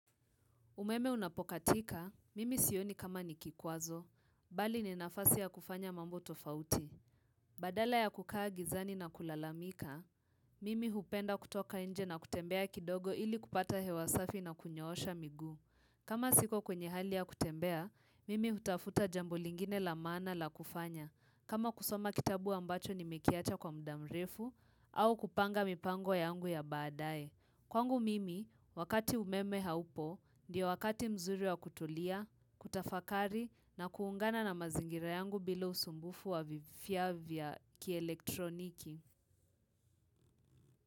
Umeme unapokatika, mimi sioni kama ni kikwazo, bali ni nafasi ya kufanya mambo tofauti. Badala ya kukaa gizani na kulalamika, mimi hupenda kutoka nje na kutembea kidogo ili kupata hewa safi na kunyoosha miguu. Kama siko kwenye hali ya kutembea, mimi hutafuta jambo lingine la maana la kufanya. Kama kusoma kitabu ambacho nimekiacha kwa muda mrefu, au kupanga mipango yangu ya baadae. Kwangu mimi, wakati umeme haupo, ndio wakati mzuri wa kutulia, kutafakari na kuungana na mazingira yangu bila usumbufu wa vifaa vya kielektroniki.